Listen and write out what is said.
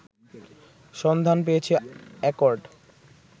সন্ধান পেয়েছে অ্যাকর্ড